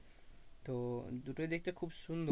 তো দুটোই দেখতে খুব সুন্দর।